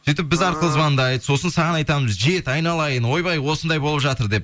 сөйтіп біз арқылы звондайды сосын саған айтамыз жет айналайын ойбай осындай болып жатыр деп